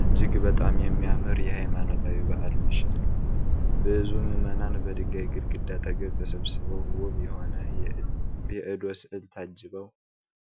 እጅግ በጣም የሚያምር የሃይማኖታዊ በዓል ምሽት ነው። ብዙ ምእመናን በድንጋይ ግድግዳ አጠገብ ተሰብስበው ውብ የሆነ የአዶ ሥዕል ታጅበዋል።